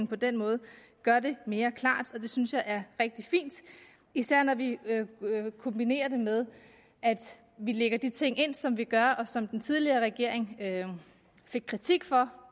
på den måde gør det mere klart og det synes jeg er rigtig fint især når vi kombinerer det med at vi lægger de ting ind som vi gør og som den tidligere regering fik kritik for